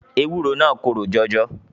Ewúro naa korò jọjọ.